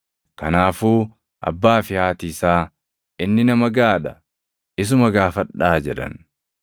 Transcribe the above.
Kanaafuu abbaa fi haati isaa, “Inni nama gaʼaa dha; isuma gaafadhaa” jedhan.